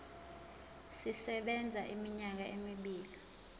sisebenza iminyaka emibili